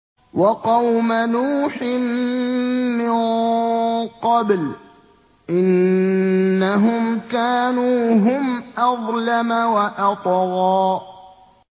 وَقَوْمَ نُوحٍ مِّن قَبْلُ ۖ إِنَّهُمْ كَانُوا هُمْ أَظْلَمَ وَأَطْغَىٰ